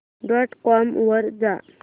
dot com वर जा